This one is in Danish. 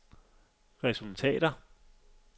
resultater